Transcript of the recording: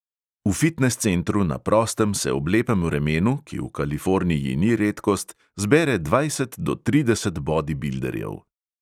V fitnes centru na prostem se ob lepem vremenu, ki v kaliforniji ni redkost, zbere dvajset do trideset bodibilderjev.